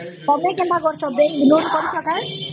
ତମେ କେନ୍ତା କରାସ bank loan କରିଛ ନ ?